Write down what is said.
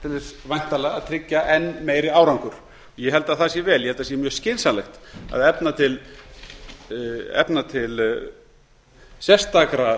þess væntanlega að tryggja enn meiri árangur ég held að það sé vel ég held að það sé skynsamlegt að efna til sérstakra